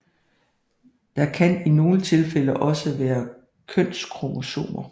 Der kan i nogle tilfælde også være kønskromosomer